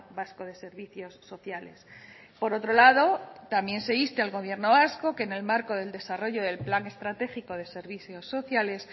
vasco de servicios sociales por otro lado también se insta al gobierno vasco que en el marco del desarrollo del plan estratégico de servicios sociales